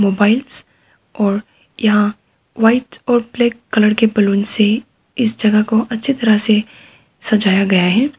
Mobiles और यहाँ white और ब्लैक कलर के बैलून से इस जगह को अच्छी तरह से सजाया गया है।